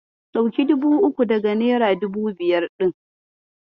Ɗauki dubu uku daga nera dubu biyar ɗin.